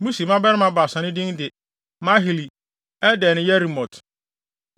Musi mmabarima baasa no din de Mahli, Eder ne Yeremot.